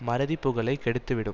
மறதி புகழை கெடுத்துவிடும்